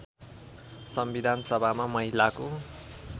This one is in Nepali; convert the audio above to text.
संविधान सभामा महिलाको